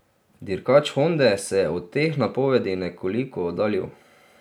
Dirkač Honde se je od teh napovedi nekoliko oddaljil.